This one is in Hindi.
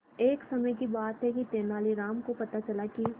एक समय की बात है कि तेनालीराम को पता चला कि